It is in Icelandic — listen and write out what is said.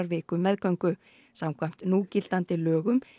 viku meðgöngu samkvæmt núgildandi lögum